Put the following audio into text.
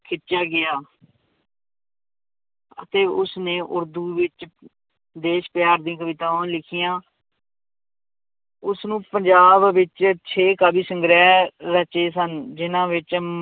ਖਿੱਚਿਆ ਗਿਆ ਅਤੇ ਉਸਨੇ ਉਰਦੂ ਵਿੱਚ ਦੇਸ ਪਿਆਰ ਦੀਆਂ ਕਵਿਤਾਵਾਂ ਲਿਖੀਆਂ ਉਸਨੂੰ ਪੰਜਾਬ ਵਿੱਚ ਛੇ ਕਾਵਿ ਸੰਗ੍ਰਹਿ ਰਚੇ ਸਨ, ਜਿੰਨਾਂ ਵਿੱਚ